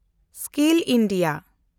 skill India